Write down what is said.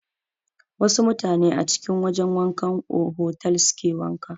Wasu mutane a cikin wajan wankan otal suke wanka.